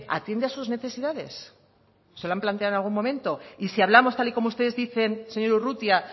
atiende a sus necesidades se lo han planteado en algún momento y si hablamos tal y como ustedes dicen señor urrutia